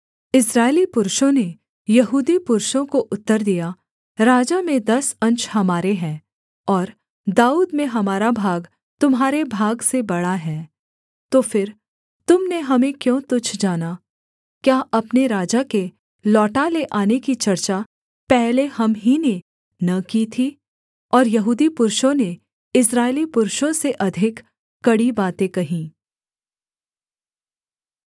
इस्राएली पुरुषों ने यहूदी पुरुषों को उत्तर दिया राजा में दस अंश हमारे हैं और दाऊद में हमारा भाग तुम्हारे भाग से बड़ा है तो फिर तुम ने हमें क्यों तुच्छ जाना क्या अपने राजा के लौटा ले आने की चर्चा पहले हम ही ने न की थी और यहूदी पुरुषों ने इस्राएली पुरुषों से अधिक कड़ी बातें कहीं